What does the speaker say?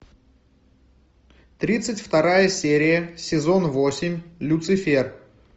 тридцать вторая серия сезон восемь люцифер